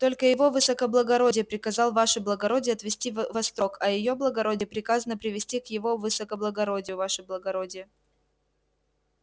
только его высокоблагородие приказал ваше благородие отвести в острог а её благородие приказано привести к его высокоблагородию ваше благородие